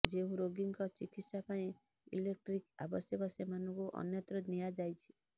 ଯେଉଁ ରୋଗୀଙ୍କ ଚିକିତ୍ସା ପାଇଁ ଇଲେଟ୍ରିକ୍ ଆବଶ୍ୟକ ସେମାନଙ୍କୁ ଅନ୍ୟତ୍ର ନିଆଯାଇଛି